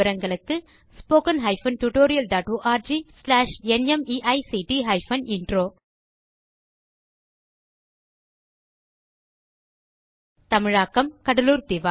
httpspoken tutorialorgNMEICT Intro தமிழாக்கம் கடலூர் திவா